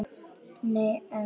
Nei, en.